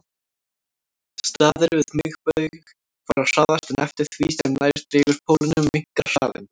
Staðir við miðbaug fara hraðast en eftir því sem nær dregur pólunum minnkar hraðinn.